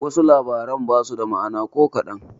Wasu labaran basu da ma'ana ko kaɗan.